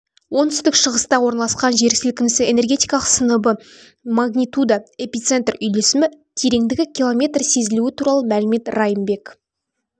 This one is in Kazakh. оңтүстік-шығыста орналасқан жерсілкінісі энергетикалық сыныбы магнитуда эпицентр үйлесімі тереңдігі километр сезілуі туралы мәлімет райымбек